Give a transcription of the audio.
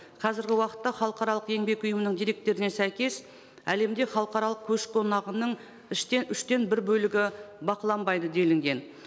қазіргі уақытта халықаралық еңбек ұйымының деректеріне сәйкес әлемде халықаралық көш қонағының үштен бір бөлігі бақыланбайды делінген